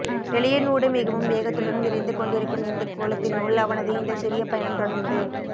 வெளியினூடு மிகவும் வேகத்துடன் விரைந்து கொண்டிருக்கும் இந்தக் கோளத்தினுள் அவனது இந்தச் சிறிய பயணம் தொடர்ந்து